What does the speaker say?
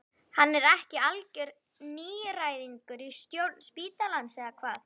Hann er ekki algjör nýgræðingur í stjórn spítalans eða hvað?